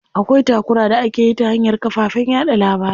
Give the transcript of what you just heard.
Akwai takura da akeyi ta hanyar kafafen yaɗa labarai.